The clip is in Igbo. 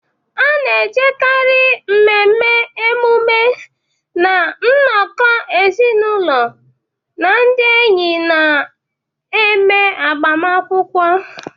A na-ejikarị mmemme, emume, na nnọkọ ezinụlọ na ndị enyi na-eme agbamakwụkwọ.